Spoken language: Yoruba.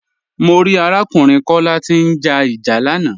Mọ̀ rí arákùnrin Kọla tí n já ìjà lànà.